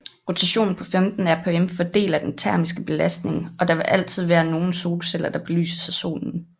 Rotationen på 15 rpm fordeler den termiske belastning og der vil altid være nogle solceller der belyses af Solen